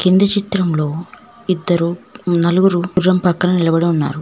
ఇంది చిత్రంలో ఇద్దరూ నలుగురు గుర్రం పక్కన నిలబడి ఉన్నారు.